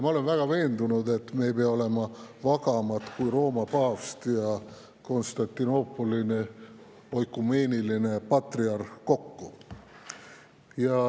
Ma olen väga veendunud, et me ei pea olema vagamad kui Rooma paavst ja Konstantinoopoli oikumeeniline patriarh kokku.